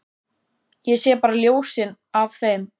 Ég sé bara ljósin af þeim.